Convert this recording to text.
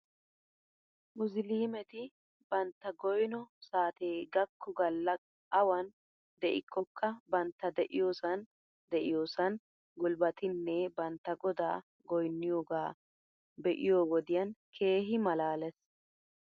Musliimeti bantta goyno saatee gakko galla awan de'ikkoka bantta de'iyoosan de'iyoosan gulbbatinne bantta godaa goynniyoogaa be'iyoo wodiyan keehi malaales .